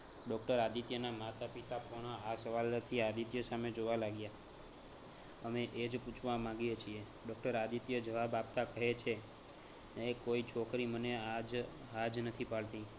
doctor આદિત્યના માતા પિતા પણ આ સવાલથી આદિત્ય સામે જોવા લાગ્યા અમે એ જ પૂછવા માગીએ છીએ doctor આદિત્ય જવાબ આપતા કહે છે અરે કોઈ છોકરી મને હા જ હા જ નથી પાડતી